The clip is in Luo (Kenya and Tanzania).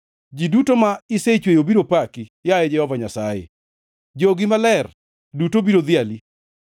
Ji duto ma isechweyo biro paki, yaye Jehova Nyasaye; jogi maler duto biro dhiali.